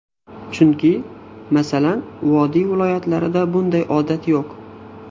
Chunki, masalan, vodiy viloyatlarida bunday odat yo‘q.